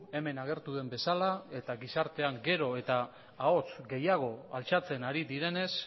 hemen agertu den bezala eta gizartean gero eta ahots gehiago altxatzen ari direnez